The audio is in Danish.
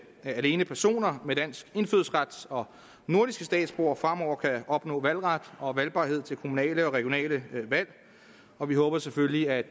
alene personer med dansk indfødsret og nordiske statsborgere fremover kan opnå valgret og valgbarhed til kommunale og regionale valg og vi håber selvfølgelig at